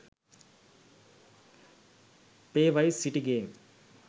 play vice city game